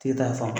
Tigi ta fan